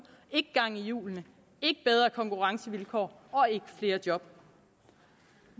ikke gang i hjulene ikke bedre konkurrencevilkår og ikke flere job